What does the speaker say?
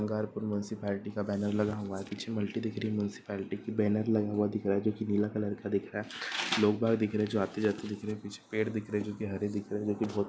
Gangarpur municipality का banner लगा हुआ है। पीछे दिख रही है मुन्सीपाल्टी की। बैनर लगा हुआ दिख रहा है जो कि नीला कलर का दिख रहा है। लोग बाग दिख रहे जो आते जाते दिख रहे। पीछे पेड़ दिख रहे जो कि हरे दिख रहे जो कि बहोत --